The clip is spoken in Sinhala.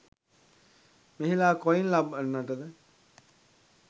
මෙහිලා කොයින් ලබන්නට ද?